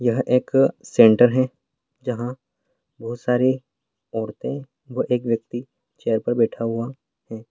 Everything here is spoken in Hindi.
यह एक सेंटर है जहाँ बहुत सारी औरतें व एक व्यक्ति चेयर पर बैठा हुआ है।